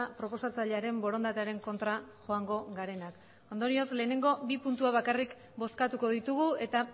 proposatzailearen borondatearen kontra joango garenak ondorioz lehenengo bi puntuak bakarrik bozkatuko ditugu eta